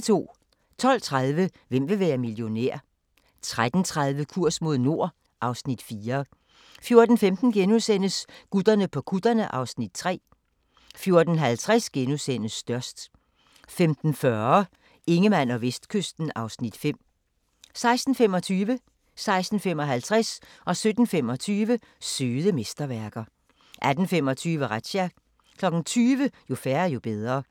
12:30: Hvem vil være millionær? 13:30: Kurs mod nord (Afs. 4) 14:15: Gutterne på kutterne (Afs. 3)* 14:50: Størst * 15:40: Ingemann og Vestkysten (Afs. 5) 16:25: Søde mesterværker 16:55: Søde mesterværker 17:25: Søde mesterværker 18:25: Razzia 20:00: Jo færre, jo bedre